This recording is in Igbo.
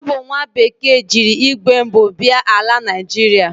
O bu nwa bekee jiri igwe mbu bia ala Naịjịrịa.